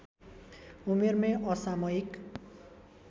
उमेरमै असामयिक